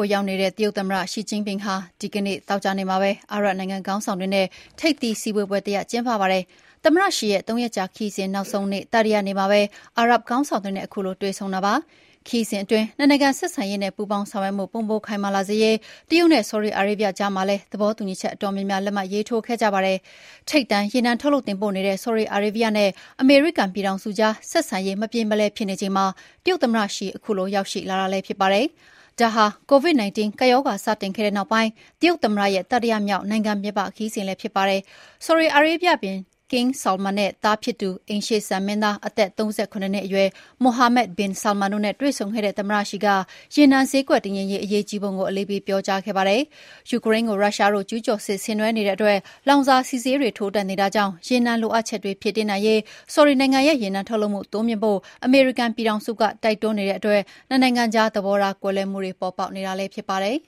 ိုရောက်ရှိနေတဲ့ တရုတ်သမ္မတရှီကျင့်ဖျင်ဟာ သောကြာနေ့မှာပဲ အာရပ်နိုင်ငံခေါင်းဆောင်တွေနဲ့ ထိပ်သီးစည်းဝေးပွဲတရပ်ကျင်းပခဲ့ပါတယ်။ သမ္မတရှီရဲ့ ၃ ရက်ကြာ ခရီးစဉ်နောက်ဆုံးတတိယနေ့မှာပဲ အာရပ်ခေါင်းဆောင်တွေနဲ့ ခုလိုတွေ့ဆုံခဲ့ကြတာပါ။ ခရီးစဉ်အတွင်း နှစ်နိုင်ငံဆက်ဆံရေးနဲ့ပူးပေါင်းဆောင်ရွက်မှု ပိုမိုခိုင်မာလာစေရေး တရုတ်နဲ့ ဆော်ဒီအာရေဗျကြားမှာလည်း သဘောတူညီချက်အတော်များများ လက်မှတ်ရေးထိုးခဲ့ကြပါတယ်။ ထိပ်တန်းရေနံထုတ်လုပ်တင်ပို့နေတဲ့ ဆော်ဒီအာရေဗျနဲ့ အမေရိကန်ပြည်ထောင်စုကြား ဆက်ဆံရေးမပြေမလည်ဖြစ်နေချိန်မှာ တရုတ်သမ္မတရှီ ခုလို ရောက်ရှိလာတာလည်းဖြစ်ပါတယ်။ ဒါဟာ Covid 19 ကပ်ရောဂါစတင်ခဲ့တဲ့နောက်ပိုင်း တရုတ်သမ္မတရဲ့ တတိယမြောက် နိုင်ငံပြင်ပ ခရီးစဉ်လည်းဖြစ်ပါတယ်။ ဆော်ဒီအာရေဗျဘုရင် King Salman နဲ့သားဖြစ်သူ အိမ်ရှေ့စံမင်းသား၊ အသက် ၃၇ နှစ်အရွယ် Mohammed bin Salman တို့နဲ့ တွေ့ဆုံခဲ့တဲ့ သမ္မတရှီက ရေနံဈေးကွက်တည်ငြိမ်ရေး အရေးကြီးပုံကို အလေးပေးပြောကြားခဲ့ကြတာပါ။ ယူကရိန်းကို ရုရှားကကျူးကျော်စစ်ဆင်နွှဲနေတဲ့အတွက် လောင်စာဆီဈေးတွေ ထိုးတက်နေတာကြောင့် ရေနံလိုအပ်ချက်တွေဖြည့်တင်းနိုင်ရေး ဆော်ဒီနိုင်ငံရဲ့ရေနံထုတ်လုပ်မှုတိုးမြှင့်ဖို့ အမေရိကန်ပြည်ထောင်စုက တိုက်တွန်းနေတဲ့အတွက် နှစ်နိုင်ငံကြား သဘောားကွဲလွဲမှုတွပေါ်ပေါက်နေတာလည်းဖြစ်ပါတယ်။